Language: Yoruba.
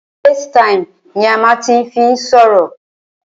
Facetime ni a máà ń fí n sọ̀rọ̀.